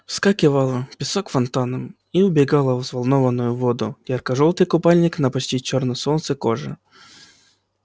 вскакивала песок фонтаном и убегала в взволнованную воду ярко-жёлтый купальник на почти чёрной от солнца коже